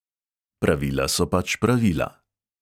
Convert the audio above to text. Pravila so pač pravila.